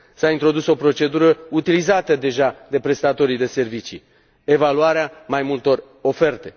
S a introdus o procedură utilizată deja de prestatorii de servicii evaluarea mai multor oferte.